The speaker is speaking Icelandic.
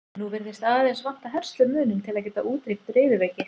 Nú virðist aðeins vanta herslumuninn til að geta útrýmt riðuveiki.